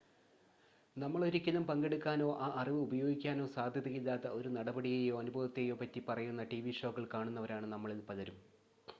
നമ്മൾ ഒരിക്കലും പങ്കെടുക്കാനോ ആ അറിവ് ഉപയോഗിക്കാനോ സാധ്യതയില്ലാത്ത ഒരു നടപടിയെയോ അനുഭവത്തെയോ പറ്റി പറയുന്ന ടിവി ഷോകൾ കാണുന്നവരാണ് നമ്മളിൽ പലരും